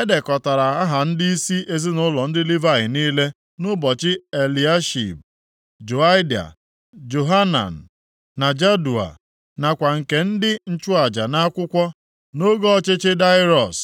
E dekọtara aha ndịisi ezinaụlọ ndị Livayị niile nʼụbọchị Eliashib, Joiada, Johanan na Jadua, nakwa nke ndị nchụaja nʼakwụkwọ nʼoge ọchịchị Daraiọs